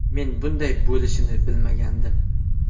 Men bunday bo‘lishini bilmagandim.